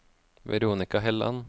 Veronika Helland